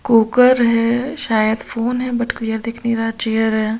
Cooker है शायद phone है बट क्लीयर दिख नहीं रहा है चेयर है।